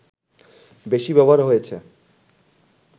বেশি ব্যবহার হয়েছে